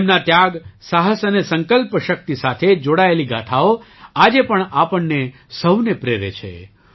તેમના ત્યાગ સાહસ અને સંકલ્પ શક્તિ સાથે જોડાયેલી ગાથાઓ આજે પણ આપણને સહુને પ્રેરે છે